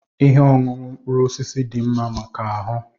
Ihe ọṅụṅụ mkpụrụ osisi dị mma maka ahụ.